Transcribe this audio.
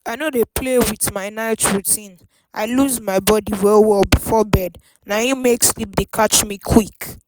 i no dey play with my night routine i loose my body well well before bed na im make sleep dey catch me quick.